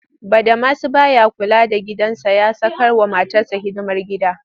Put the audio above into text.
Badamasi ba ya kula da gidansa ya sakarwa matarsa hidimar gida